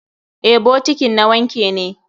Eh, bokitin a wanke ne.